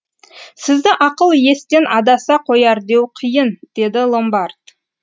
сізді ақыл естен адаса қояр деу қиын деді ломбард